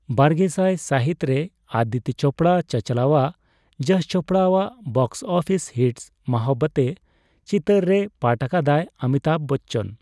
ᱵᱟᱨᱜᱮᱥᱟᱭ ᱥᱟᱹᱦᱤᱛ ᱨᱮ ᱟᱹᱫᱤᱛᱛᱚ ᱪᱚᱯᱲᱟ ᱪᱟᱪᱞᱟᱣᱟᱜ ᱡᱚᱥ ᱪᱚᱯᱲᱟ ᱟᱜ ᱵᱚᱠᱥᱼᱚᱯᱷᱤᱥ ᱦᱤᱴ 'ᱢᱚᱦᱟᱵᱽᱵᱟᱛᱮ' ᱪᱤᱛᱟᱹᱨ ᱨᱮ ᱯᱟᱴᱷ ᱟᱠᱟᱫᱟᱭ ᱚᱢᱤᱛᱟᱵᱷ ᱵᱚᱪᱪᱚᱱ ᱾